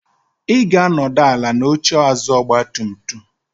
Ị ga-anọdụ ala n'oche azụ ọgba tum tum mụ.